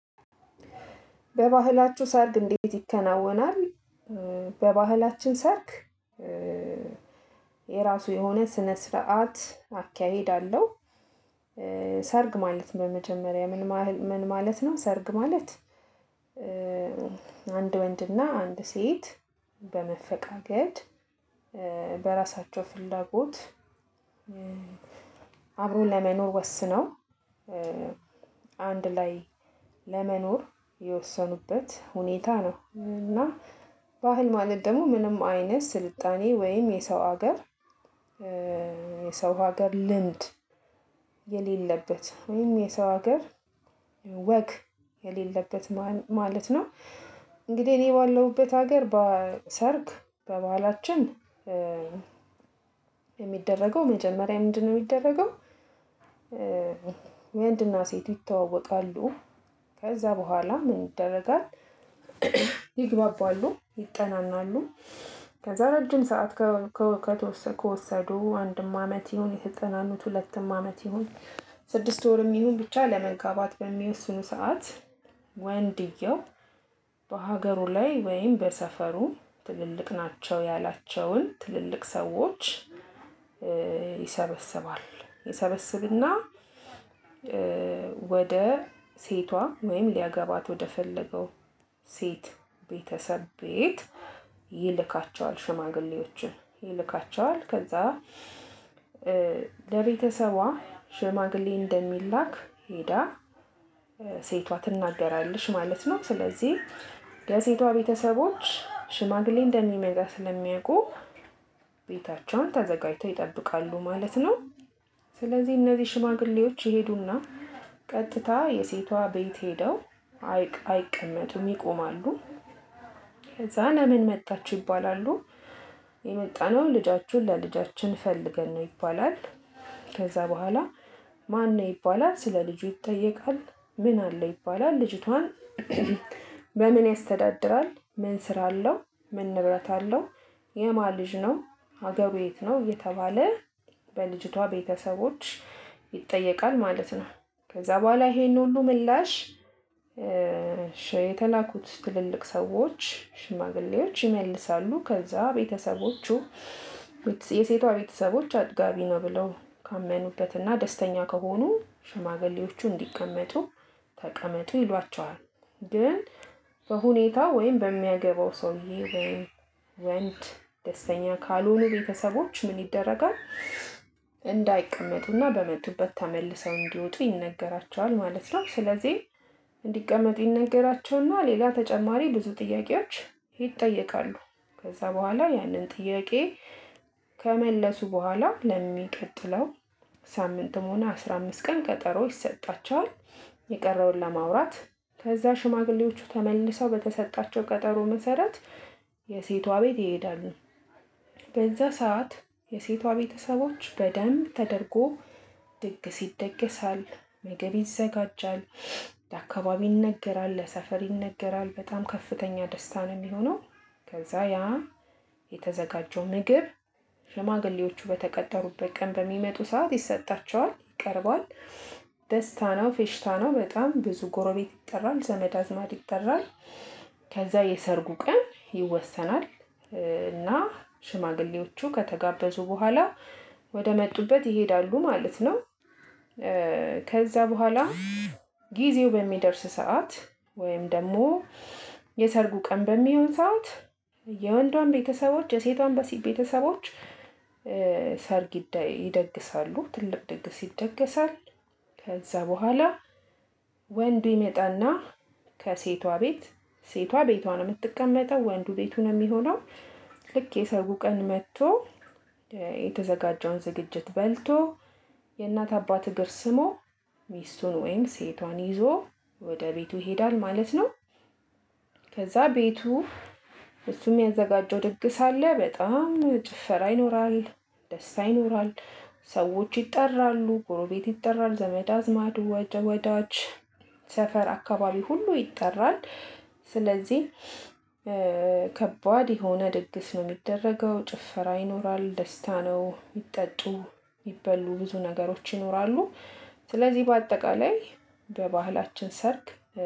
በባህላችሁ ሰርግ እንዴት ይከናወናል? በባህላችን ሰርግ የራሱ የሆነ ስነ ስርዓት አካሄድ አለው። ሰርግ ማለት ነው። በመጀመሪያ ምን ማለት ነው? ሰርግ ማለት አንድ ወንድና አንድ ሴት በመፈቃቀድ በራሳቸው ፍላጎት አብሮ ለመኖር ወስነው አንድ ላይ ለመኖር የወሰኑበት ሁኔታ ነው። እና ባህል ማለት ደግሞ ምንም አይነት ስልጣኔ ወይም የሰው ሀገር የሰው ሀገር ልምድ የሌለበት ወይም የሰው ሀገር ወግ የሌለበት ማለት ነው። እንግዲህ እኔ ባለውበት ሀገር በሰርግ በባህላችን የሚደረገው መጀመሪያ ምንድነው የሚደረገው? ወንድና ሴት ይተዋወቃሉ ከዛ በኋላ ምን ይደረጋል? ይግባባሉ ይጠናናሉ ከዛ ረጅም ሰዓት ከወሰዱ አንድም አመት ይሁን የተጠናኑት ሁለትም አመት ይሁን ስድስት ወርም ይሁን ብቻ ለመጋባት በሚወስኑ ሰዓት ወንድየው በሀገሩ ላይ ወይም በሰፈሩ ትልልቅ ናቸው ያላቸውን ትልልቅ ሰዎች። ይሰበስባ ይሰበስብና ወደ ሴቷ ወይም ሊያገባት ወደፈለገው ሴት ቤተሰብ ቤት ይልካቸዋል ሽማግሌዎችን ይልካቸዋል። ከዛ ለቤተሰቧ ሽማግሌ እንደሚላክ ሄዳ ሴቷ ትናገራለች ማለት ነው። ስለዚህ የሴቷ ቤተሰቦች ሽማግሌ እንደሚመጣ ስለሚያውቁ ቤታቸውን ተዘጋጅተው ይጠብቃሉ ማለት ነው። ስለዚህ እነዚህ ሽማግሌዎች ይሄዱና ቀጥታ የሴቷ ቤት ሄደው አይቀመጡም ይቆማሉ። ከዛ ለምን መጣችሁ ይባላሉ? የመጣነው ልጃችሁን ለልጃችን ፈልገን ነው ይባላል። ከዛ በኋላ ማን ነው ይባላል? ስለልጁ ይጠየቃል ምን አለው ይባላል ልጅቷን በምን ያስተዳድራል ምን ስራ አለው? ምን ንብረት አለው? የማን ልጅ ነው? ሀገሩ የት ነው እየተባለ በልጅቷ ቤተሰቦች ይጠየቃል ማለት ነው። ከዛ በኋላ ይሄንን ሁሉ ምላሽ የተላኩት ትልልቅ ሰዎች ሽማግሌዎች ይመልሳሉ ከዛ ቤተሰቦቹ የሴቷ ቤተሰቦች አጥጋቢ ነው። ብለው ካመኑበትና ደስተኛ ከሆኑ ሽማግሌዎቹ እንዲቀመጡ ተቀመጡ ይሏቸዋል። ግን በሁኔታው ወይም በሚያገባው ሰውዬ ወንድ ደስተኛ ካልሆኑ ቤተሰቦች ምን ይደረጋል? እንዳይቀመጡና በመጡበት ተመልሰው እንዲወጡ ይነገራቸዋል ማለት ነው። ስለዚህ እንዲቀመጡ ይነገራቸውና ሌላ ተጨማሪ ብዙ ጥያቄዎች ይጠየቃሉ። ከዛ በኋላ ያንን ጥያቄ ከመለሱ በኋላ ለሚቀጥለው ሳምንትም ሆነ አስራ አምስት ቀን ቀጠሮ ይሰጣቸዋል። የቀረውን ለማውራት ከዛ ሽማግሌዎቹ ተመልሰው በተሰጣቸው ቀጠሮ መሰረት የሴቷ ቤት ይሄዳሉ። በዛ ሰዓት የሴቷ ቤተሰቦች በደንብ ተደርጎ ድግስ ይደገሳል ምግብ ይዘጋጃል ለአካባቢ ይነገራል ለሰፈር ይነገራል በጣም ከፍተኛ ደስታ ነው የሚሆነው። ከዛ ያ የተዘጋጀው ምግብ ሽማግሌዎቹ በተቀጠሩበት ቀን በሚመጡ ሰዓት ይሰጣቸዋል ይቀርባል። ደስታ ነው ፌሽታ ነው በጣም ብዙ ጎረቤት ይጠራል ዘመድ አዝማድ ይጠራል። ከዛ የሰርጉ ቀን ይወሰናል። እና ሽማግሌዎቹ ከተጋበዙ በኋላ ወደመጡበት ይሄዳሉ ማለት ነው። ከዛ በኋላ ጊዜው በሚደርስ ሰዓት ወይም ደግሞ የሰርጉ ቀን በሚሆን ሰዓት የወንዷም ቤተሰቦች የሴቷም ቤተሰቦች ሰርግ ይደግሳሉ ትልቅ ድግስ ይደገሳል። ከዛ በኋላ ወንዱ ይመጣና ከሴቷ ቤት ሴቷ ቤቷ ነው የምትቀመጠው ወንዱ ቤቱ ነው የሚሆነው። ልክ የሰርጉ ቀን መጥቶ የተዘጋጀውን ዝግጅት በልቶ የእናት አባት እግር ስሞ ሚስቱን ወይም ሴቷን ይዞ ወደ ቤቱ ይሄዳል ማለት ነው። ከዛ ቤቱ እሱም የሚያዘጋጀው ድግስ አለ በጣም ጭፈራ ይኖራል። ደስታ ይኖራል። ሰዎች ይጠራሉ ጎሮቤት ይጠራል ዘመድ አዝማድ ወዳጅ ሰፈር አካባቢ ሁሉ ይጠራል። ስለዚህ ከባድ የሆነ ድግስ ነው የሚደረገው ጭፈራ ይኖራል ደስታ ነው ሚጠጡ ሚበሉ ብዙ ነገሮች ይኖራሉ። ስለዚህ በአጠቃላይ በባህላችን ሰርግ